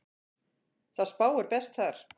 Það spáir best þar.